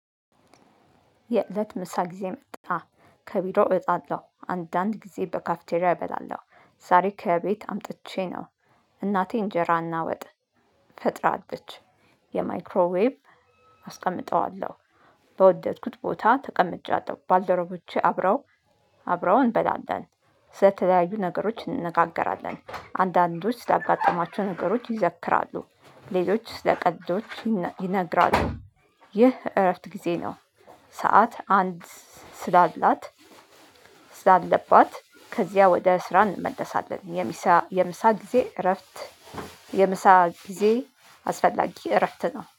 የእለት ምሳ ጊዜ መጣ ከቢሮ እወጣለሁ አንዳንድ ጊዜ በካፍቴሪያ እበላለሁ። ዛሬ ከቤት አምጥቼ ነው። እናቴ እንጀራ እና ወጥ ፈጥራለች። የማይክሮዌብ አስቀምጠዋለሁ። በወደድኩት ቦታ ተቀምጬዋለሁ ባልደረቦቼ አብረው አብረው እንበላለን። ስለተለያዩ ነገሮች እንነጋገራለን። አንዳንዶች ስላጋጠማቸው ነገሮች ይዘክራሉ። ሌሎች ስለ ቀልዶች ይነግራሉ። ይህ እረፍት ጊዜ ነው። ሰዓት አንድ ስላላት ስላለባት ከዚያ ወደ ስራ እንመለሳለን። የሚሳ የምሳ ጊዜ እረፍት። የምሳ ጊዜ አስፈላጊ እረፍት ነው